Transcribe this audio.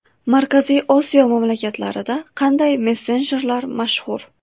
Markaziy Osiyo mamlakatlarida qanday messenjerlar mashhur?.